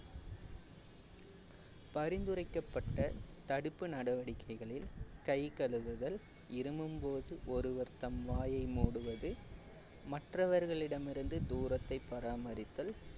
பரிந்துரைக்கப்பட்ட தடுப்பு நடவடிக்கைகளில் கை கழுவுதல் இருமும்போது ஒருவர் தம் வாயை மூடுவது மற்றவர்களிடமிருந்து தூரத்தை பராமரித்தல்